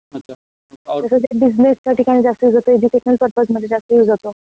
तस ते बिज़नस च्या ठिकाणी जास्त यूज़ होतो, एजुकेशनल पर्पस मध्ये जास्त यूज़ होतो.